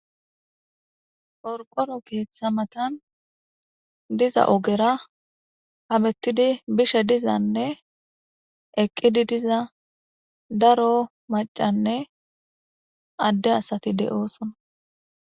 Orqoro keeththa matan diza ogera habettidi bishe dizanne eqqidi diza daro macanne adde asati de'oosona.